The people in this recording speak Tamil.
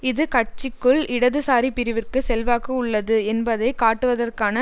இது கட்சிக்குள் இடதுசாரி பிரிவிற்கு செல்வாக்கு உள்ளது என்பதை காட்டுவதற்கான